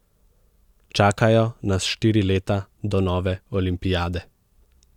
Čakajo nas štiri leta do nove olimpiade.